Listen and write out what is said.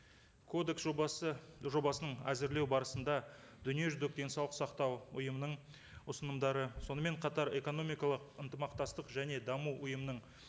кодекс жобасы жобасын әзірлеу барысында дүниежүзілік денсаулық сақтау ұйымының ұсынымдары сонымен қатар экономикалық ынтымақтастық және даму ұйымының